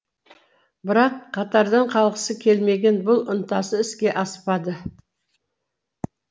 бірақ қатардан қалғысы келмеген бұл ынтасы іске аспады